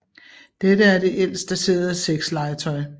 Dette er det ældst daterede sexlegetøj